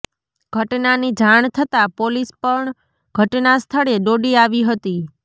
ઘટનાની જાણ થતાં પોલીસ પણ ઘટના સ્થળે દોડી આવી હતી